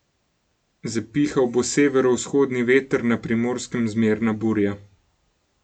Zapihal bo severovzhodni veter, na Primorskem zmerna burja.